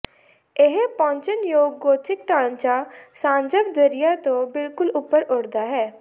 ਇਹ ਪਹੁੰਚਣਯੋਗ ਗੋਥਿਕ ਢਾਂਚਾ ਸਾਜਵ ਦਰਿਆ ਤੋਂ ਬਿਲਕੁਲ ਉੱਪਰ ਉੱਠਦਾ ਹੈ